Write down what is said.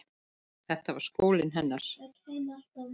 Þetta var skólinn hennar.